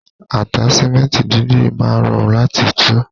Ataṣimẹnti dídì máa rọrun lati tú.